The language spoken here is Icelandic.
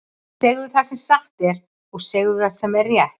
Segðu það sem satt er, og segðu það sem er rétt!